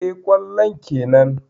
Eh, kwallon kenan.